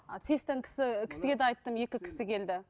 а сэс тан кісі кісіге де айттым екі кісі келді